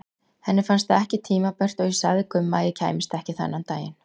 Henni fannst það ekki tímabært og ég sagði Gumma að ég kæmist ekki þennan daginn.